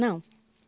Não.